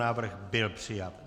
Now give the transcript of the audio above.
Návrh byl přijat.